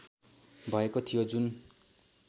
भएको थियो जुन